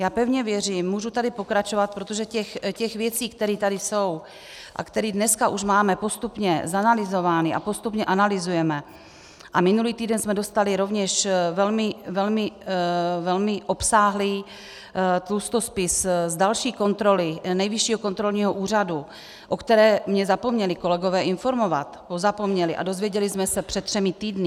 Já pevně věřím, můžu tady pokračovat, protože těch věcí, které tady jsou a které dneska už máme postupně zanalyzovány a postupně analyzujeme, a minulý týden jsme dostali rovněž velmi obsáhlý tlustospis z další kontroly Nejvyššího kontrolního úřadu, o které mě zapomněli kolegové informovat, pozapomněli, a dozvěděli jsme se před třemi týdny.